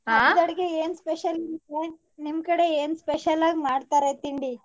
ಅಡ್ಗೆ ಏನ್ special ನಿಮ್ ಕಡೆ ನಿಮ್ ಕಡೆ ಏನ್ special ಆಗ್ ಮಾಡ್ತಾರೆ ತಿಂಡಿ?